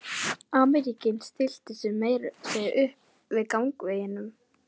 Ameríkaninn stillti sér meira að segja upp í gangveginum.